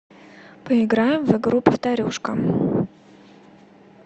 поиграем в игру повторюшка